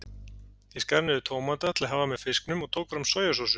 Ég skar niður tómata til að hafa með fisknum og tók fram sojasósu.